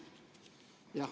Jah.